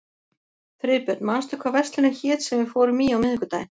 Friðbjörn, manstu hvað verslunin hét sem við fórum í á miðvikudaginn?